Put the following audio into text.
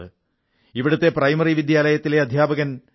ഇവിടത്തെ പ്രൈമറി വിദ്യാലയത്തിലെ അധ്യാപകൻ പി